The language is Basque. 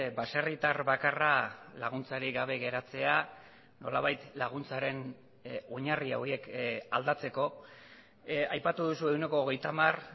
baserritar bakarra laguntzarik gabe geratzea nolabait laguntzaren oinarri horiek aldatzeko aipatu duzu ehuneko hogeita hamar